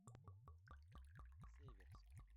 северск